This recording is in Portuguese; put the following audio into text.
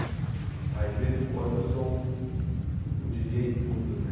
Aí de vez em quando eu sou o djíi djêi Tudo, né?